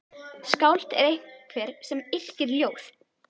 Skáld er einhver sem yrkir ljóð.